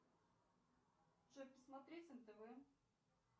джой посмотреть нтв